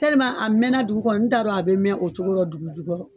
a mɛɛnna dugu kɔnɔ n t'a don a bɛ mɛɛn o cogorɔ dugu jukɔrɔ